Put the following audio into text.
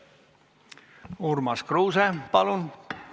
Urmas Kruuse, palun!